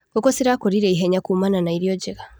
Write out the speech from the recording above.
Ngũkũ cirakũrire ihenya kumana na irio njega.